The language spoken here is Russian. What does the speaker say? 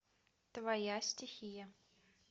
твоя стихия